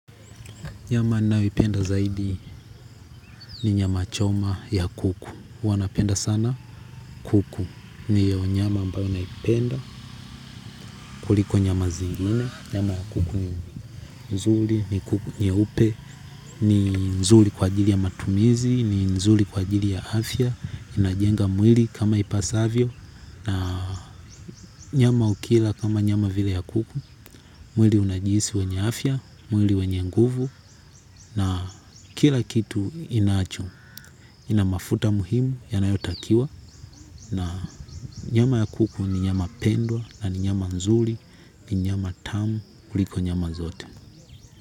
Nyama ninayoipenda zaidi ni nyama choma ya kuku. Huwa napenda sana kuku. Ndiyo nyama ambayo naipenda kuliko nyama zingine. Nyama ya kuku nzuri ni kuku nyeupe, ni nzuri kwa ajili ya matumizi, ni nzuri kwa ajili ya afya. Inajenga mwili kama ipasavyo. Na nyama ukila kama nyama vile ya kuku. Mwili unajihisi wenye afya, mwili wenye nguvu na kila kitu inacho. Ina mafuta muhimu yanayotakiwa na nyama ya kuku ni nyama pendwa na ni nyama nzuri ni nyama tamu kuliko nyama zote.